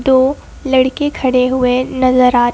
दो लड़के खड़े हुए नजर आ रहे।